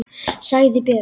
sagði Björn.